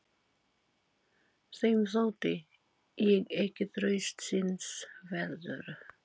Þeim þótti ég ekki traustsins verður.